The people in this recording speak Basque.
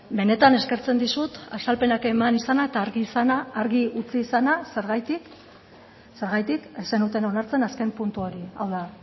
benetan eskertzen dizut azalpenak eman izana eta argi utzi izana zergatik zergatik ez zenuten onartzen azken puntu hori hau da